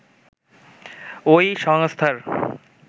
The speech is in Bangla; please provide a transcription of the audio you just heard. ওই সংস্থার